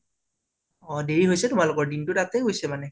অ দেৰি হৈছে তোমালোকৰ, দিনতো তাতে গৈছে মানে